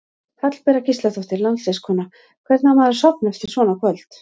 Hallbera Gísladóttir landsliðskona: Hvernig á maður að sofna eftir svona kvöld?